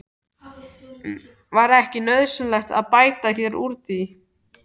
Var ekki nauðsynlegt að bæta hér úr?